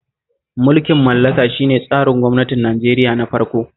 Mulkin mallaka shi ne tsarin gwamnatin Nigeria na farko